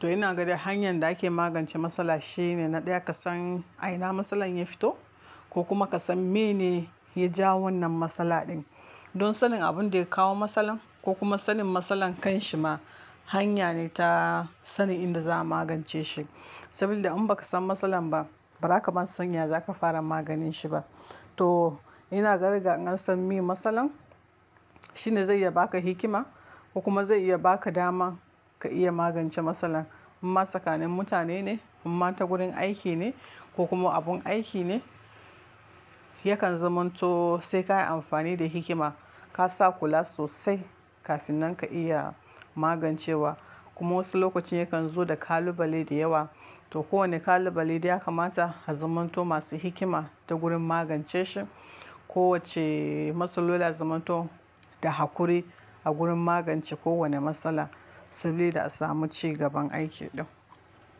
To ina ganin hanyar da ake magance matsala shine na ɗaya ka san a ina matsalar ya fito ko kuma ka san me ne ya jawo wannan matsala din. Don sanin abin da ya kawo matsalar ko kuma sanin matsalar kan shi ma, hanya ne ta sanin inda za a magance shi. Saboda in ba ka san matsalar ba, ba zaka ma san ya zaka fara maganin shi ba. To ina ganin ga na san meye matsalar, shine zai iya baka hikima ko kuma zai iya baka dama ka iya magance matsalar. Amma tsakanin mutan ne, in ma ta gurin aiki ne ko kuma abun aiki ne yakan zamanto sai ka yi amfani da hikima ka sa kula sosai kafin nan ka iya magancewa. Kuma wasu lokacin yakan zo da kalubale da yawa. To kowanne kalubale dai ya kamata a zamanto masu hikima ta gurin magance shi. Kowacce matsala ya na zamanto da haƙuri a gurin magance kowane matsala sabida a samu cigaban aiki din.